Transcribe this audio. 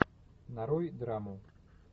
нарой драму